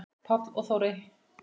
Páll og Þórey.